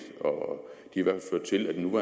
det var